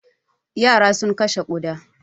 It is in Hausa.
Yara sun kashe ƙuda.